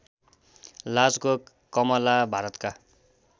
लाजको कामला भारतका